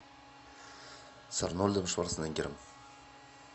с арнольдом шварценеггером